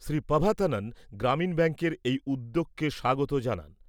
শ্রী পাভাথানন গ্রামীণ ব্যাঙ্কের এই উদ্যোগকে স্বাগত জানান।